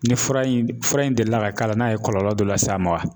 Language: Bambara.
Ni fura in fura in delila ka k'a la n'a ye kɔlɔlɔ dɔ lase a ma wa ?